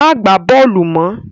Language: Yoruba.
Má gba bóòlù mọ!